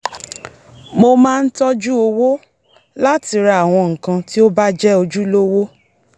mo máa ń tọ́jú owó láti ra àwọn nǹkan tí ó bá jé̩ ojúlówó